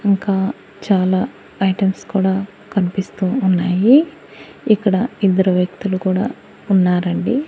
ఇంకా చాలా ఐటమ్స్ కూడా కనిపిస్తూ ఉన్నాయి ఇక్కడ ఇద్దరు వ్యక్తులు కూడా ఉన్నారండి.